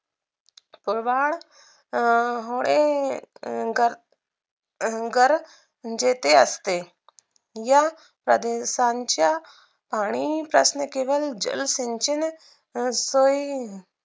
प्रवाळ अं होये गर गर जेथे असते या प्रदेशांच्या पाणी साचणे केवळ जलसंचल सोई